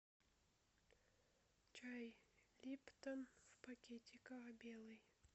чай липтон в пакетиках белый